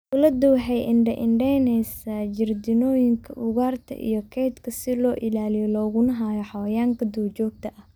Dawladdu waxay indha-indhaysay jardiinooyinka ugaarta iyo kaydka si loo ilaaliyo looguna haayo xayawaanka duurjoogta ah.